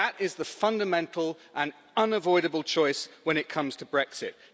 That is the fundamental and unavoidable choice when it comes to Brexit.